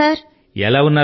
vanakkam sir